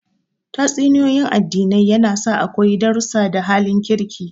Tatsuniyoyin addinai yana sa a koyi darrusa da halin kirki